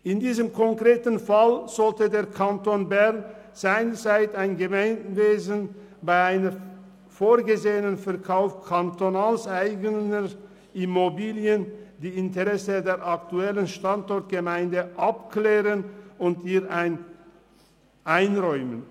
In diesem konkreten Fall sollte der Kanton Bern, seinerseits ein Gemeinwesen, bei einem vorgesehenen Verkauf kantonaleigener Immobilien die Interessen der aktuellen Standortgemeinde abklären und ihr ein Vorkaufsrecht einräumen.